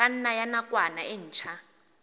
kganna ya nakwana e ntshwa